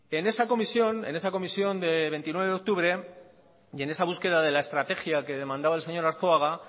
en esa comisión de veintinueve de octubre y en esa búsqueda de la estrategia que demandaba el señor arzuaga